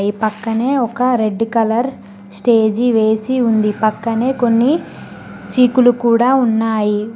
ఈ పక్కనే ఒక రెడ్డు కలర్ స్టేజి వేసి ఉంది పక్కనే కొన్ని సీకులు కూడా ఉన్నాయి.